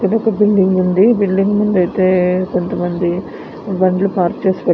ఇక్కడ ఒక బిల్డింగ్ ఉంది. బిల్డింగ్ ముందు అయితే కొంత మంది బండ్లు పార్క్ చేసి పె --